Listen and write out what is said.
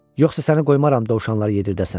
Yoxsa səni qoymaram dovşanlar yedirdəsən.